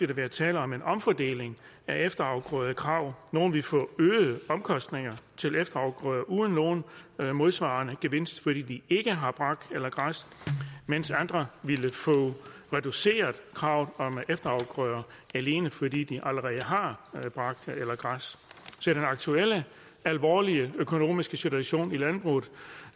der være tale om en omfordeling af efterafgrødekravet nogle vil få øgede omkostninger til efterafgrøder uden nogen modsvarende gevinst fordi de ikke har brak eller græs mens andre vil få reduceret kravet om efterafgrøder alene fordi de allerede har brak eller græs til den aktuelle alvorlige økonomiske situation i landbruget